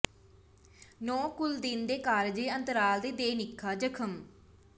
ਨੌ ਕੁਲ੍ਲ ਦਿਨ ਦੇ ਕਾਰਜ ਦੇ ਅੰਤਰਾਲ ਦੀ ਦੇ ਿਣੇਪਾ ਜਖਮ